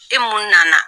E mun nana